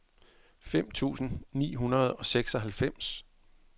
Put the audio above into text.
fem tusind ni hundrede og seksoghalvfems